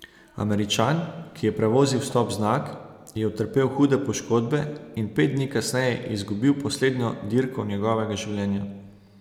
Američan, ki je prevozil stop znak, je utrpel hude poškodbe in pet dni kasneje izgubil poslednjo dirko njegovega življenja.